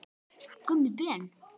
Gummi Ben.